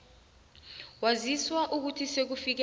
waziswa ukuthi sekufike